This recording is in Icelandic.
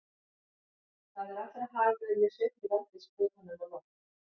Það er allra hagur að ég sveifli veldissprotanum á loft.